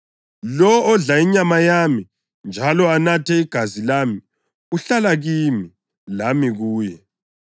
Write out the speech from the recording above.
Lowo odla inyama yami njalo anathe igazi lami uhlala kimi, lami kuye.